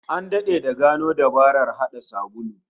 An dade da gano dabarar hada sabulu